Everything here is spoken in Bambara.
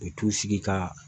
U bɛ t'u sigi ka